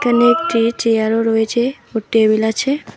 এখানে একটি চেয়ারও রয়েছে ও টেবিল আছে।